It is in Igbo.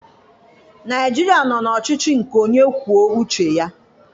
Naịjirịa nọ n'ọchịchị nke onye kwuo uche ya.